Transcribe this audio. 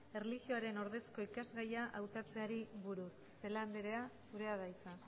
erlijioaren ordezko ikasgaia hautatzeari buruz celaá andrea zurea da hitza